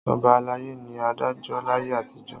Ọba alayé ni adájọ́ láyé àtijọ́.